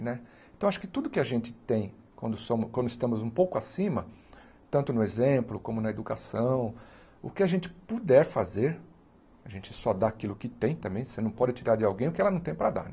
Né então acho que tudo que a gente tem quando somos quando estamos um pouco acima, tanto no exemplo como na educação, o que a gente puder fazer, a gente só dá aquilo que tem também, você não pode tirar de alguém o que ela não tem para dar.